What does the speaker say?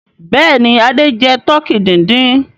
Bẹ́ẹ̀ ni, Adé jẹ tọkí dídín.